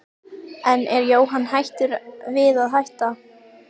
En er Jóhann hættur við að hætta?